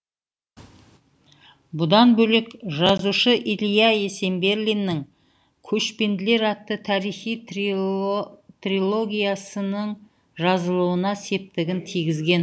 бұдан бөлек жазушы ілия есенберлиннің көшпенділер атты тарихи трилогиясының жазылуына септігін тигізген